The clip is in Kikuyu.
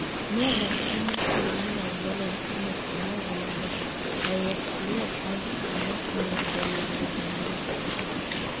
Nĩ athakirie mũbira-inĩ wa Valentino kuuma Ũganda na AFC Leopards kuuma Kenya mbere ya gũthamĩra Sofapaka.